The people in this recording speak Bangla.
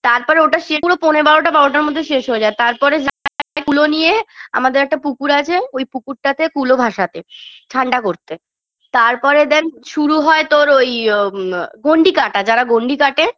তারপর ওটা সে পুরো পৌনে বারোটা বারোটার মধ্যেই শেষ হয়ে যায় তারপরে যায় কুলো নিয়ে আমাদের একটা পুকুর আছে ওই পুকুরটাতে কুলো ভাসাতে ঠান্ডা করতে তারপরে then শুরু হয় তোর ওই আ ম গন্ডি কাটা যারা গন্ডি কাটে